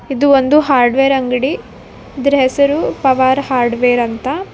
ಇದು ಒಂದು ಹಾರ್ಡ್ವೇರ್ ಅಂಗಡಿ ಇದರ ಹೆಸರು ಪವರ್ ಹಾರ್ಡ್ವೇರ್ ಅಂತ.